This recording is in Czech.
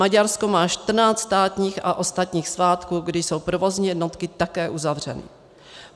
Maďarsko má 14 státních a ostatních svátků, kdy jsou provozní jednotky také uzavřeny.